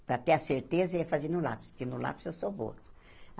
Para ter a certeza, eu ia fazer no lápis, porque no lápis eu sou boa.